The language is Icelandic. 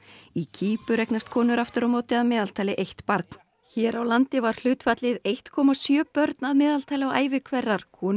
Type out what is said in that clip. í Kýpur eignast konur aftur á móti að meðaltali eitt barn hér á landi var hlutfallið einn komma sjö börn að meðaltali á ævi hverrar konu